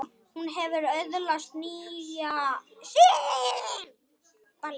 Hún hefur öðlast nýja sýn.